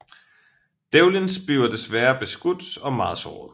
Devlins bliver desværrer beskudt og meget såret